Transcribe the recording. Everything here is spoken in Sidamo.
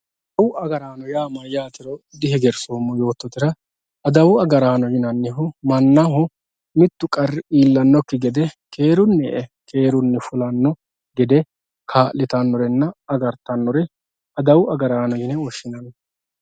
adawu agaaraano yaa mayaatero dihegersoomo yoototera adawu agaraano yinannihu mannaho mittu qarri iillannokki gede keerunni e"e keerunni fulanno gede kaa'littannonna agarttannoore adawu agaaraano yine woshshinanni